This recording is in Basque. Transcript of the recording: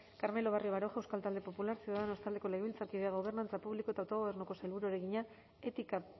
carmelo barrio baroja euskal talde popularra ciudadanos taldeko legebiltzarkideak gobernantza publiko eta autogobernuko sailburuari egina etika